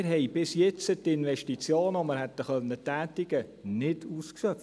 Wir haben bis jetzt die Investitionen, die wir hätten tätigen können, nicht ausgeschöpft.